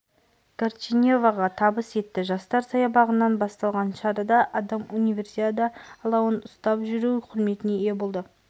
горичеваға табыс етті жастар саябағынан басталған шарада адам универсиада алауын ұстап жүру құрметіне ие болды